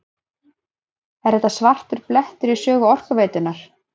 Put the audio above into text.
Er þetta svartur blettur í sögu Orkuveitunnar?